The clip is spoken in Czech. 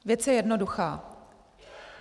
Věc je jednoduchá.